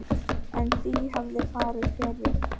En því hefði farið fjarri.